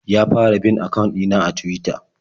Ya fara bin akawun ɗina a Tuwita.